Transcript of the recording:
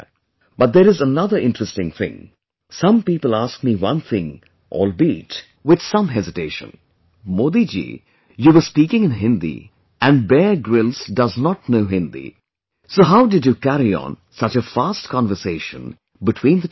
But there is another interesting thing, some people ask me one thing albeit with some hesitation Modi ji, you were speaking in Hindi and Bear Grylls does not know Hindi, so how did you carry on such a fast conversation between the two of you